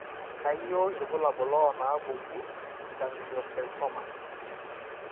Kainyio irbulabul onaapuku egangliocytomas?